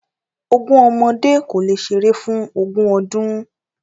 Ogún ọmọdé kò le ṣeré fún ogún ọdún.